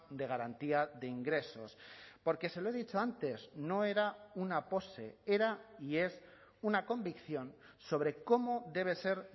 de garantía de ingresos porque se lo he dicho antes no era una pose era y es una convicción sobre cómo debe ser